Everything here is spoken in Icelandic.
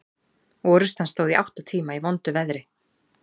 Orrustan stóð í átta tíma í vondu veðri.